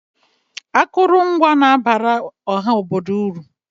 Akụrụngwa na-abara ọha obodo uru.